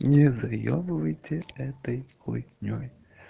не заебывайте этой хуйнёй